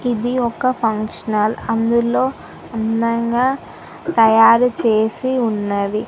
ఇది ఒక్క ఫంక్షనల్ అందులో అందంగా తయారు చేసి ఉన్నది.